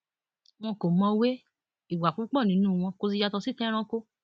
wọn kò mọwé ìwà púpọ nínú wọn kò sì yàtọ sí ti ẹranko